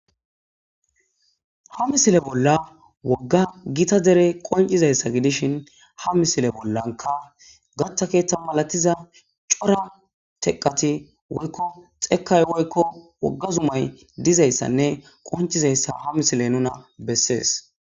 ha misile bolla wogga gita dere qoncizayssa gidishin ha misile bollanka gatta keeththa malatiza cora teqati woykko xekay woykko wogga zumay dizayssanne qoncizayssa ha misile nuna bessees